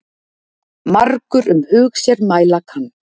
Margur um hug sér mæla kann.